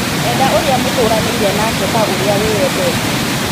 Enda ũrĩa mũtũranĩire nake ta ũrĩa wĩyendete.